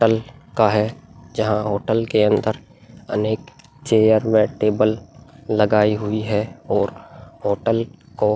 hotel का है जहाँ होटल के अंदर अनेक चेयर व टेबल लगायी हुई हैं और होटल को --